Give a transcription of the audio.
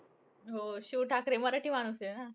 हो. शिव ठाकरे मराठी माणूस आहे ना.